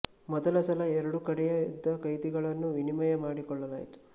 ಮೊದಲ ಸಲ ಎರಡು ಕಡೆಯ ಯುದ್ಧ ಕೈದಿಗಳನ್ನು ವಿನಿಮಯ ಮಾಡಿಕೊಳ್ಳಲಾಯಿತು